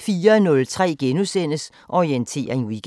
04:03: Orientering Weekend *